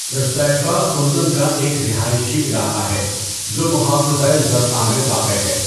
رصیفہ اردن کا ایک رہائشی علاقہ ہے جو محافظۂ زرقاء میں واقع ہے۔